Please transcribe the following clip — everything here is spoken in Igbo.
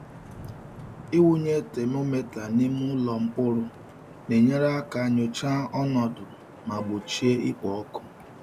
Ịwụnye temometa n’ime ụlọ mkpụrụ na-enyere aka nyochaa ọnọdụ ma gbochie ikpo ọkụ.